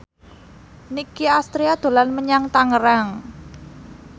Nicky Astria dolan menyang Tangerang